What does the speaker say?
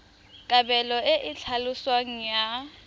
kabelo e e tlhaloswang ya